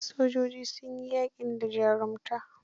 Sojojin sun yi yaƙin da jarumta.